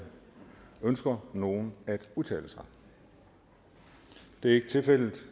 ønsker nogen at udtale sig det er ikke tilfældet